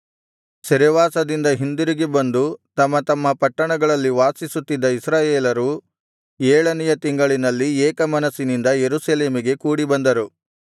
ಸೆರೆವಾಸದಿಂದ ಹಿಂದಿರುಗಿ ಬಂದು ತಮ್ಮ ತಮ್ಮ ಪಟ್ಟಣಗಳಲ್ಲಿ ವಾಸಿಸುತ್ತಿದ್ದ ಇಸ್ರಾಯೇಲರು ಏಳನೆಯ ತಿಂಗಳಿನಲ್ಲಿ ಏಕಮನಸ್ಸಿನಿಂದ ಯೆರೂಸಲೇಮಿಗೆ ಕೂಡಿಬಂದರು